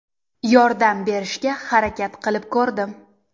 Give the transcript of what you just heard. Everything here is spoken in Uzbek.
Yordam berishga harakat qilib ko‘rdim.